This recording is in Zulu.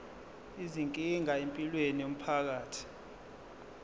izinkinga empilweni yomphakathi